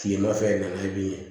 Kilema fɛ nana ye bilen